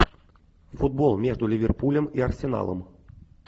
футбол между ливерпулем и арсеналом